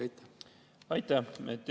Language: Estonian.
Aitäh!